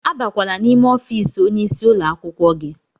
Abakwala n'ime ọfiisi onye isi ụlọ akwụkwọ gị!